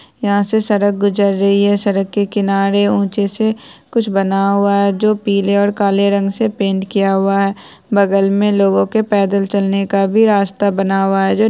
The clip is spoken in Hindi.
यहाँ से एक सड़क गुजर रही है सड़क के किनारे ऊंचे से कुछ बना हुआ है जो पीले और काला रंग से पेंट किया हुआ है बगल में लोगो के पैदल चलने का भी रास्ता बना हुआ है जो --